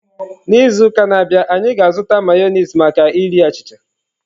N'izu na-abịa, anyị ga-azụta Mayonezi maka iri achịcha.